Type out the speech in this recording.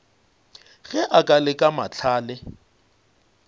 ge a ka leka mahlale